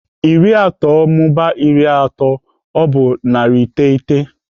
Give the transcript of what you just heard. Iri atọ mụbaa iri atọ bụ narị iteghete.